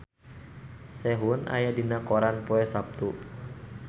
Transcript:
Sehun aya dina koran poe Saptu